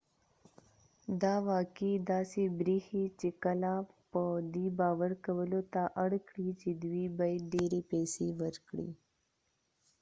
دا واقعي داسې بریښي چې خلک په دې باور کولو ته اړ کړي چې دوی باید ډیرې پیسې ورکړي